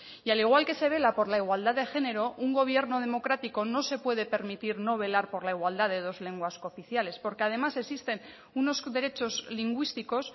y al igual que se vela por la igualdad de género un gobierno democrático no se puede permitir no velar por la igualdad de dos lenguas cooficiales porque además existen unos derechos lingüísticos